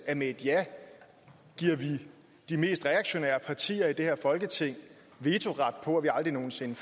at med et ja giver vi de mest reaktionære partier i det her folketing vetoret for at vi aldrig nogen sinde